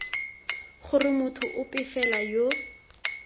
gore motho ope fela yo